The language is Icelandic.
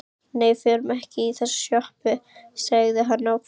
Nei, við förum ekki í þessa sjoppu, sagði hann ákveðinn.